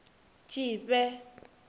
tshifhe